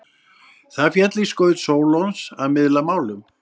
Það féll í skaut Sólons að miðla málum.